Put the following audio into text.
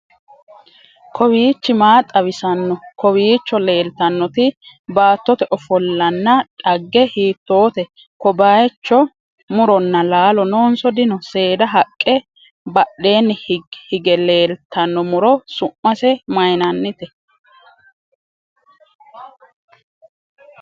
kowiichi maa xawisanno? kowiicho leeltannoti baattote ofollonna dhagge hiittote?ko bayicho muronna laalo noonso dino? seeda haqqe badheenni hige leetanno muro su'mase mayiinanite?